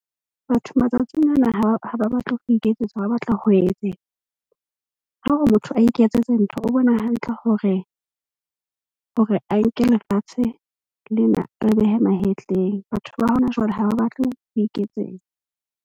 Batho matsatsing ana ha ba batle ho iketsetsa, ba batla ho etsetswa. Ha o re motho a iketsetse ntho, o bona hantle hore a nke lefatshe lena a le behe mahetleng. Batho ba hona jwale ha ba batle ho iketsetsa.